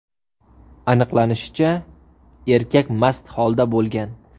Aniqlanishicha, erkak mast holda bo‘lgan.